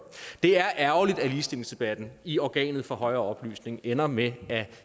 er ærgerligt at ligestillingsdebatten i organet for højere oplysning ender med at